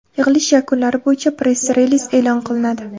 Yig‘ilish yakunlari bo‘yicha press-reliz e’lon qilinadi.